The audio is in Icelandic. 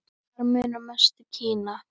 Þar munar mest um Kína.